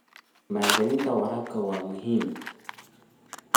Maalgelinta waraabka waa muhiim.